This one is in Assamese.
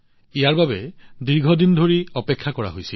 এইটো দীৰ্ঘদিন ধৰি অপেক্ষাৰত হৈ আছিল